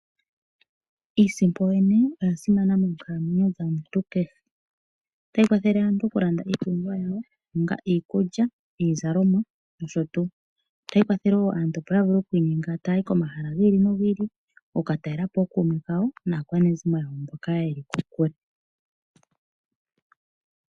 Iisipo yo yene oya simana mokalamwenyo dhomuntu kehe, otayi kwathele aantu oku landa iipumbiwa onga iikulya, iizalomwa noshotuu, otayi kwathele opo aantu ya vule oku inyenga mba taya yi komahala gi ili nogi ili oku katalela po ookuume kawo naakwanezimo yawo mboka yeli kokule.